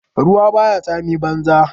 Ruwa baya tsami banza.